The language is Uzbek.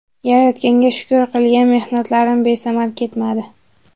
Yaratganga shukur qilgan mehnatlarim besamar ketmadi.